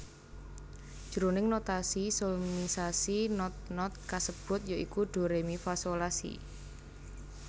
Jroning notasi solmisasi not not kasebut ya iku Do Re Mi Fa Sol La Si